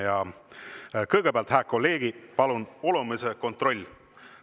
Ja kõgõpäält, hää kolleegi, palun olõmisõ kontroll.